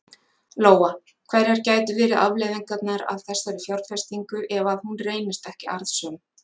Lóa: Hverjar gætu verið afleiðingar af þessari fjárfestingu ef að hún reynist ekki arðsöm?